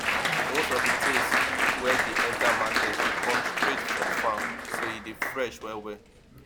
most of di things wey dey enter market dey come straight from farm so e dey fresh well well